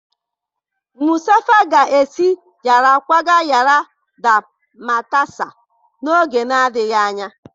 Mustafa ga-esi Yara kwaga Yara da Matasa n'oge na-adịghị anya